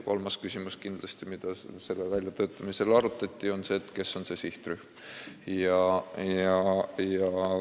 Kolmas küsimus kindlasti, mida selle meetme väljatöötamisel arutati, oligi see, kes on see sihtrühm.